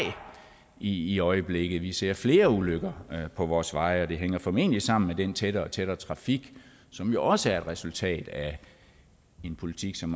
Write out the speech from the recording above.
i i øjeblikket vi ser flere ulykker på vores veje og det hænger formentlig sammen med den tættere og tættere trafik som jo også er et resultat af en politik som